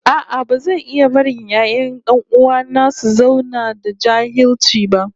No, I won't watch my brother's children remain illiterate